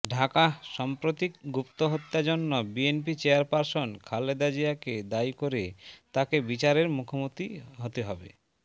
ঢাকাঃ সাম্প্রতিক গুপ্তহত্যার জন্য বিএনপি চেয়ারপারসন খালেদা জিয়াকে দায়ী করে তাকে বিচারের মুখোমুখি হতে হবে